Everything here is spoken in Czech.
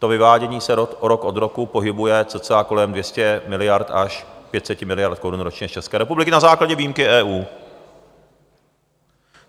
To vyvádění se rok od roku pohybuje cca kolem 200 miliard až 500 miliard korun ročně z České republiky na základě výjimky EU.